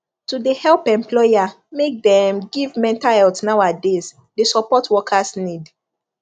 to de help employer make deem give mental health now a days de support workers need